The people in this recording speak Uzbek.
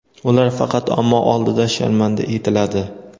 ular faqat omma oldida sharmanda etiladi.